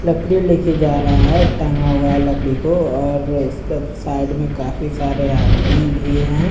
लकड़ी लेकर जा रहा है टागा हुआ है लकड़ी को और उसका साइड में काफी सारे आदमी भी हैं।